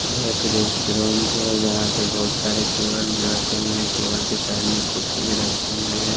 यह एक रेस्टोरेंट है जहां पे बहोत सारे टेबल रखे हुए हैं टेबल के साइड में कुर्चि भी रखे गए हैं।